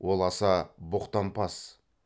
ол аса боқтампаз